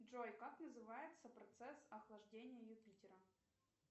джой как называется процесс охлаждения юпитера